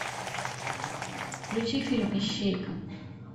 включи фильм ищейка